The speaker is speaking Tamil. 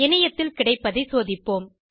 இணையத்தில் கிடைப்பதை சோதிப்போம்